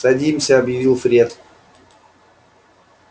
садимся объявил фред